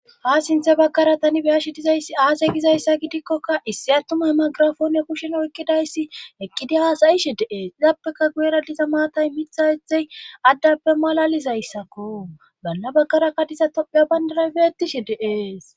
ha sinthe bagkara tani beyashi dizayssi aase gizayssa gidikkoka issi attuma hemagirafone kushen oykkidayssi ekkidi haasayishi deees izappeka guyera diza maatay mitha hethey addappe malalizayssakko balla bakarakkadiza topiya bandaray beettishe deees